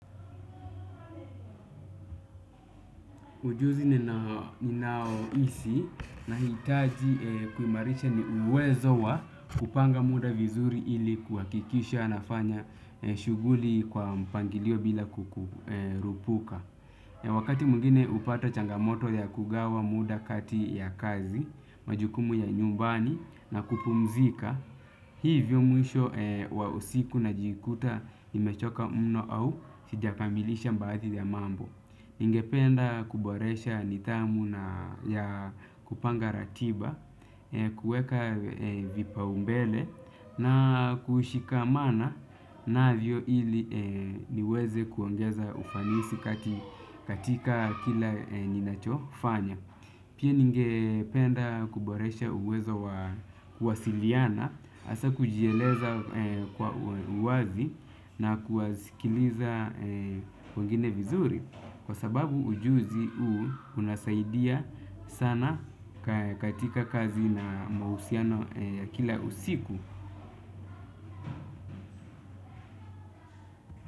Ujuzi ni naoisi nahitaji kuimarisha ni uwezo wa kupanga muda vizuri ili kuhakikisha nafanya shughuli kwa mpangilio bila kukurupuka. Wakati mungine hupata changamoto ya kugawa muda kati ya kazi, majukumu ya nyumbani na kupumzika, hivyo mwisho wa usiku najikuta nimechoka mno au sijakamilisha mbaadhi ya mambo. Ningependa kuboresha nidhamu na ya kupanga ratiba, kueka vipa umbele na kushikamana navyo ili niweze kuongeza ufanisi katika kila nina chofanya. Pia ninge penda kuboresha uwezo wa kuwasiliana, asa kujieleza kwa uwazi na kuwasikiliza wengine vizuri. Kwa sababu ujuzi uu unasaidia sana katika kazi na mahusiano ya kila usiku.